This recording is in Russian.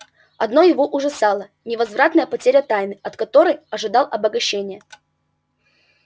одно его ужасало невозвратная потеря тайны от которой ожидал обогащения